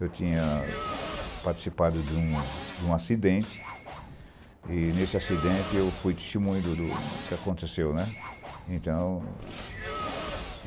Eu tinha participado de um de um acidente e nesse acidente eu fui testemunho do do que aconteceu, né. Então